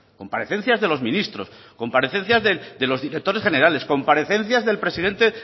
comparecencias de los ministros comparecencias de los directores generales comparecencias del presidente